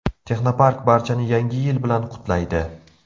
Texnopark barchani Yangi yil bilan qutlaydi.